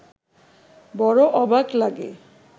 বড় অবাক লাগে